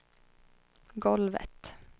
golvet